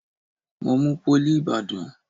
Mo mú pólì ìbàdàn.